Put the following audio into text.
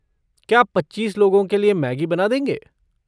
क्या आप पच्चीस लोगों के लिए मैगी बना देंगे?